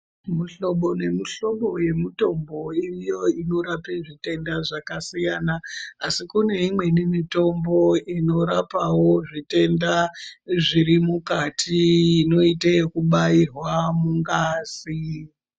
Muhlobo nemuhlobo yemitombo iriyo inorape zvitenda zvakasiyana. Asi kune imweni mitombo inorapawo zvitenda zviri mukati inoite yekubairwa mungazi.